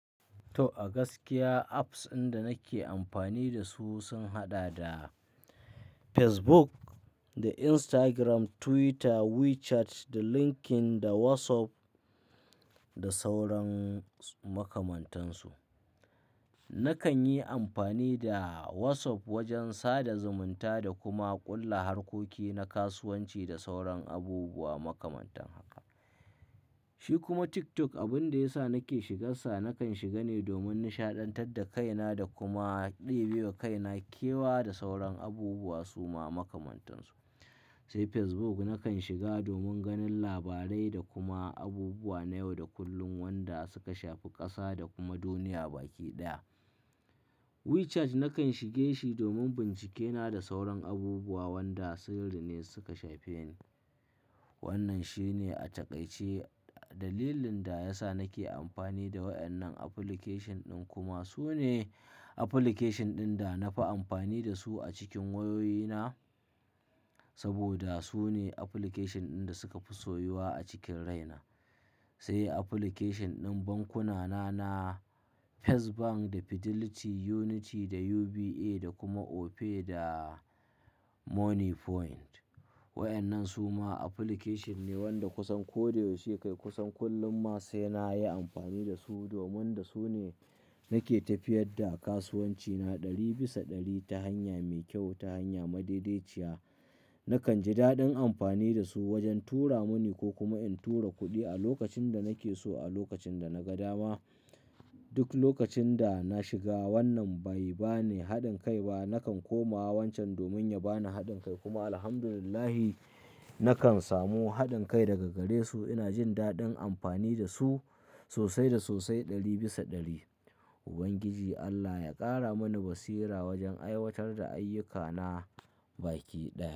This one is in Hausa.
To, a gaskiya apps inda nake amfani da su sun haɗa da Facebook da Instagram, Twitter, WeChat da LinkedIn da WhatsApp da sauran makamantansu. Nakan yi amfani da WhatsApp wajen sada zumunta da kuma ƙulla harkoki na kasuwanci da sauran abubuwa makamantan haka. Shi kuma TikTok, abin da ya sa nake shigarsa, nakan shiga ne domin nishaɗantar da kaina da kuma ɗibewa kaina kewa da sauran abubuwa suma makamantan su. Sai Facebook nakan shiga domin ganin labarai da kuma abubuwa na yau da kullum wanda suka shafi ƙasa da kuma duniya baki ɗaya. WeChat nakan shige shi domin bincike na da sauran abubuwa wanda sirri ne suka shafe ni. Wannan shine a taƙaice dalilin da ya sa nake amfani da waɗannan application ɗin kuma su ne application ɗin da na fi amfani da su a cikin wayoyina. Saboda su ne application ɗin da suka fi soyuwa a cikin raina. Sai application ɗin bankuna na First Bank da Fidelity, Unity da UBA da kuma Opay da Monie Point. Waɗannan su ma application ne wanda kusan ko da yaushe kai kusan kullum ma sai na yi amfani da su domin da su ne nake tafiyar da kasuwancina ɗari bisa ɗari ta hanya mai kyau, ta hanya madaidaiciya. Nakan ji daɗin amfani da su wajen tura muni ko kuma in tura kuɗi a lokacin da nake so a lokacin da na ga dama. Duk lokacin da na shiga wannan bai ba ni haɗin kai ba, nakan koma wancan domin ya ba ni haɗin kai kuma Alhamdulillahi, nakan samu haɗin kai daga gare su. Ina jin daɗin amfani da su sosai da sosai ɗari bisa ɗari. Ubangiji Allah ya ƙara mani basira wajen aiwatar da ayyukana baki ɗaya.